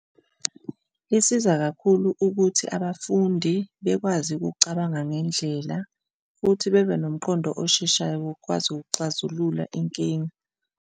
Lisiza kakhulu ukuthi abafundi bekwazi ukucabanga ngendlela futhi bebe nomqondo osheshayo wokwazi ukuxazulula inkinga.